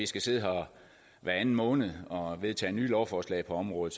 skal sidde her hver anden måned og vedtage nye lovforslag på området